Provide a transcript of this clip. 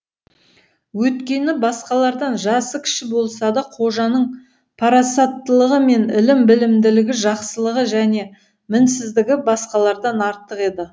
өйткені басқалардан жасы кіші болса да қожаның парасаттылығы мен ілім білімділігі жақсылығы және мінсіздігі басқалардан артық еді